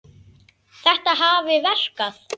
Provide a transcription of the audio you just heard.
Þetta hafi verkað.